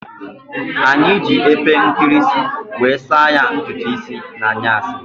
Anyi ji epe nkirisi wee saa ya ntutu isii n'anyasi